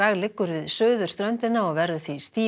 liggur við suðurströndina og verður því stíf